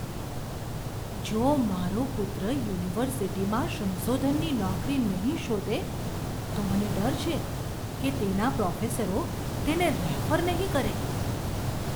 જો મારો પુત્ર યુનિવર્સિટીમાં સંશોધનની નોકરી નહીં શોધે, તો મને ડર છે કે તેના પ્રોફેસરો તેને રેફર નહીં કરે.